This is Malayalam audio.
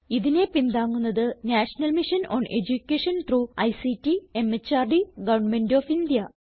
ഇതിനെ പിന്താങ്ങുന്നത് national mission on education through ICT MHRD government of India